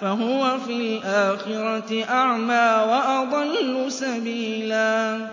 فَهُوَ فِي الْآخِرَةِ أَعْمَىٰ وَأَضَلُّ سَبِيلًا